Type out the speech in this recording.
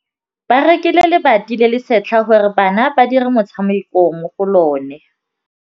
Ba rekile lebati le le setlha gore bana ba dire motshameko mo go lona.